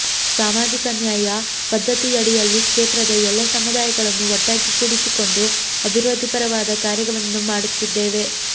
ಸಾಮಾಜಿಕ ನ್ಯಾಯ ಪದ್ಧತಿಯಡಿಯಲ್ಲಿ ಕ್ಷೇತ್ರದ ಎಲ್ಲ ಸಮುದಾಯಗಳನ್ನು ಒಟ್ಟಾಗಿ ಕೂಡಿಸಿಕೊಂಡು ಅಭಿವೃದ್ದಿ ಪರವಾದ ಕಾರ್ಯ ವನ್ನು ಮಾಡುತ್ತಿದ್ದೇವೆ